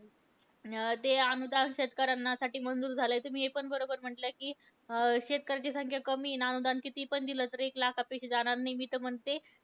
अं जे अनुदान शेतकऱ्यांनासाठी मंजूर झालंय. ते तुम्ही पण बरोबर म्हटलंय, कि शेतकऱ्यांची संख्या कमी आहे. आणि अनुदान कितीपण दिलं तरी एक लाखापेक्षा जाणार नाही मी तर म्हणते.